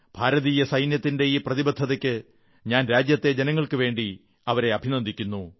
ഭാരതീയ സൈന്യത്തിന്റെ ഈ പ്രതിബദ്ധതയ്ക്ക് ഞാൻ രാജ്യത്തെ ജനങ്ങൾക്കുവേണ്ടി അവരെ അഭിനന്ദിക്കുന്നു